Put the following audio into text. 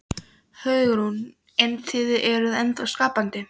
Hugrún: En þið eruð ennþá skapandi?